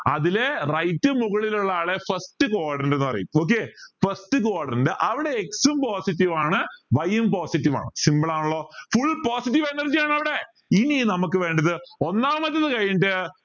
അതിലെ right മുകളിൽ ഉള്ള ആളെ first quadrant ന്ന് പറയും okay first quadrant അവിടെ x ഉം positive ആണ് y ഉം positive ആണ് simple ആണലോ full positive energ ആണവിടെ ഇനി നമക്ക് വേണ്ടത് ഒന്നാമത് കഴിഞ്ഞിട്ട്